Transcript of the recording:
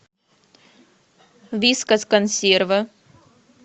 вискас консервы